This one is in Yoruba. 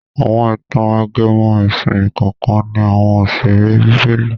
Àwọn ìtàn- ajẹmọ́ ẹ̀sìn kànkan ní àwọn òṣèré bíbélì.